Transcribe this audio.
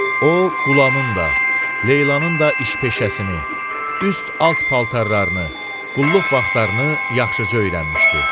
O, Qulamın da, Leylanın da iş-peşəsini, üst, alt paltarlarını, qulluq vaxtlarını yaxşıca öyrənmişdi.